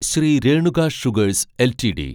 Shri Renuka sugars LTD